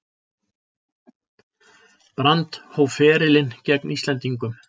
Brand hóf ferilinn gegn Íslendingum